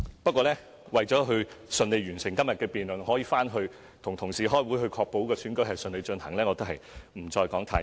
不過，為順利完成今日的辯論，讓我可以返回辦公室與同事開會確保選舉順利進行，故此我也不多說了。